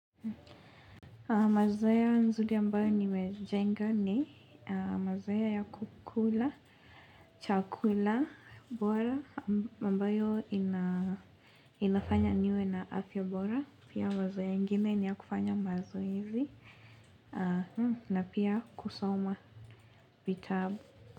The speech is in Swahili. Mazoea nzuri ambayo nimejenga ni mazoea ya kukula chakula bora ambayo inafanya niwe na afya bora pia mazoea ingine ni ya kufanya mazoezi na pia kusoma vitabu.